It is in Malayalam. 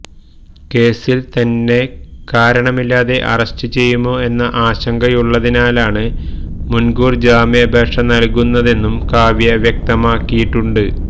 കേസില് തന്നെ കാരണമില്ലാതെ അറസ്റ്റ് ചെയ്യുമോ എന്ന ആശങ്കയുള്ളതിനാലാണ് മുന്കൂര് ജാമ്യാപേക്ഷ നല്കുന്നതെന്നും കാവ്യ വ്യക്തമാക്കിയിട്ടുണ്ട്